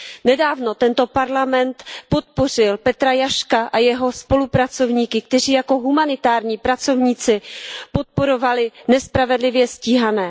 Nedávno Parlament podpořil Petra Jaška a jeho spolupracovníky, kteří jako humanitární pracovníci podporovali nespravedlivě stíhané.